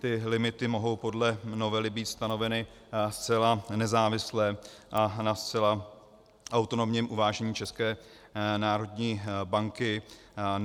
Ty limity mohou podle novely být stanoveny zcela nezávisle a na zcela autonomním uvážení České národní banky.